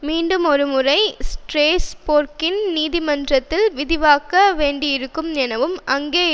மீண்டுமொருமுறை ஸ்ராஸ்பேர்க்கின் நீதிமன்றத்தில் விவாதிக்க வேண்டியிருக்கும் எனவும் அங்கே